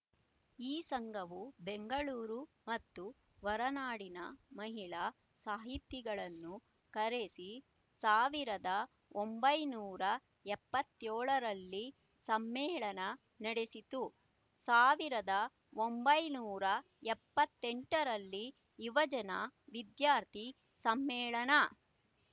ಈ ಸಂಘವು ಬೆಂಗಳೂರು ಮತ್ತು ಹೊರನಾಡಿನ ಮಹಿಳಾ ಸಾಹಿತಿಗಳನ್ನು ಕರೆಸಿ ಸಾವಿರದ ಒಂಬೈನೂರ ಎಪ್ಪತ್ ಯೋಳರಲ್ಲಿ ಸಮ್ಮೇಳನ ನಡೆಸಿತು ಸಾವಿರದ ಒಂಬೈನೂರ ಎಪ್ಪತ್ತ್ ಎಂಟರಲ್ಲಿ ಯುವಜನ ವಿದ್ಯಾರ್ಥಿ ಸಮ್ಮೇಳನ